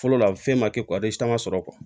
Fɔlɔ la fɛn ma kɛ sɔrɔ